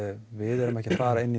við séum ekki að fara í